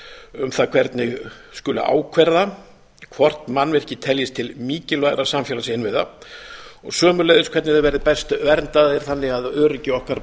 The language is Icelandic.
um það hvernig skuli ákvarða hvort mannvirki teljist til mikilvægra samfélagsinnviða og sömuleiðis hvernig þeir verði best verndaðir þannig að öryggi okkar